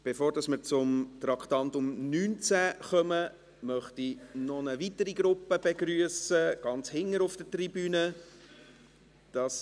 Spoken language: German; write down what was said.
Bevor wir zu Traktandum 19 kommen, möchte ich noch eine weitere Gruppe begrüssen, die sich ganz hinten auf der Tribüne befindet.